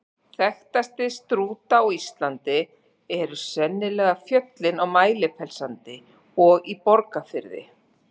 Þekktastir Strúta á Íslandi eru sennilega fjöllin á Mælifellssandi og í Borgarfirði.